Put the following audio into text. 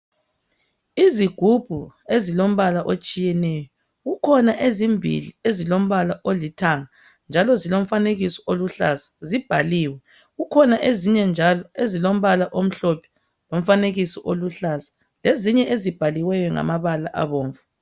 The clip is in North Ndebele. Izigubhu ezilombala otshiyeneyo kukhona ezimbili ezilombala olithanga, njalo zilomfanekiso oluhlaza zibhaliwe, kukhona ezinye njalo ezilombala omhlophe lomfanekiso oluhlaza, lezinye ezibhaliweyo ngamabala abomvu.